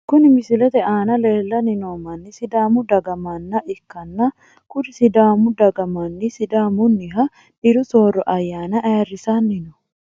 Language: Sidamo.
Kuri misilete aana leelani noo mani sidaamu saga manna ikana kuri sidaamu daga mani sidaamuniha diru sooro ayaana ayirisani no.